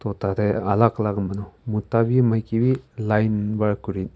utatey alak alak manu mota wi maiki wi line wa .]